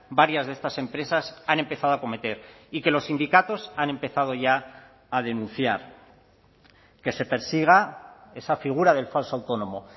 varias de estas empresas han empezado a acometer y que los sindicatos han empezado ya a denunciar que se persiga esa figura del falso autónomo